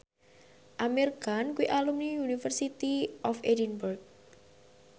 Amir Khan kuwi alumni University of Edinburgh